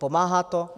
Pomáhá to?